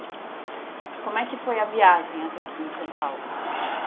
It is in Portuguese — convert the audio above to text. E como é que foi a viagem até aqui em São Paulo?